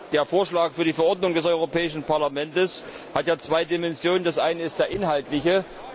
Der Vorschlag für die Verordnung des Europäischen Parlaments hat ja zwei Dimensionen. Die eine ist die inhaltliche.